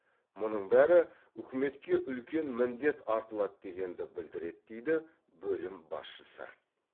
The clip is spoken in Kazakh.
мұның бәрі үкіметке үлкен міндет артылады дегенді білдіреді дейді бөлім басшысы